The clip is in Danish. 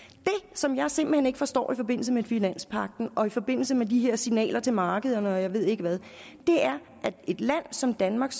som jeg simpelt hen ikke forstår i forbindelse med finanspagten og i forbindelse med de her signaler til markederne og jeg ved ikke hvad er at et land som danmark